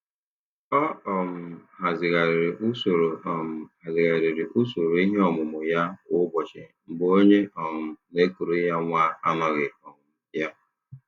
Ọ um hazigharịrị usoro um hazigharịrị usoro ihe omume ya kwa ụbọchị mgbe onye um na-ekuru ya nwa anoghị um ya.